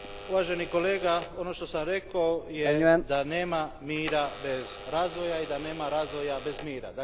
Uvaženi kolega, ono što sam rekao je da nema mira bez razvoja i da nema razvoja bez mira.